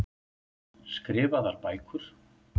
Skrifaðar bækur.